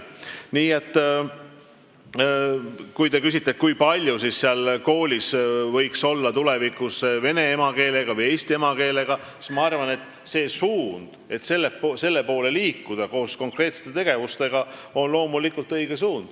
Nii et kui te küsite, milline oleks tulevikus see vahekord, kui palju võiks koolis olla vene emakeelega või eesti emakeelega õpilasi, siis ma arvan, et see suund, mille poole liikuda, koos konkreetsete tegevustega, on loomulikult õige.